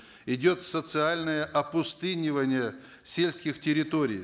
идет социальное опустынивание сельских территорий